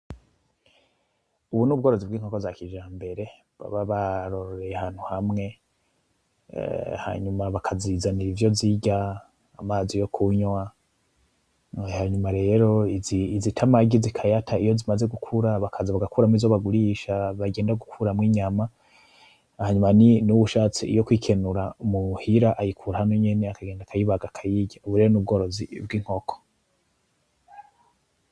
Ubu n'ubworozi bw'inkoko za kijambere baba bororeye ahantu hamwe ,hanyuma bakazizanira ivyo zirya ,amazi yo kunywa. Hanyuma rero izita amagi zikayata, iyo zimaze gukura bakaza bagakuramwo izo bagurisha bagenda gukuramwo inyama, hanyuma n'uwushatse iyo kw'ikenura muhira ayikura hano nyene akagenda akayibaga akayirya ;ubu rero n'ubworozi bw'inkoko.